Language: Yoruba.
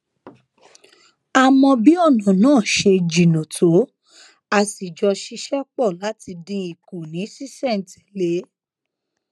a mọ bí ònà náà ṣe jìnnà tó a sì jọ ṣiṣé pò láti dín in kù ní ṣísèntèlé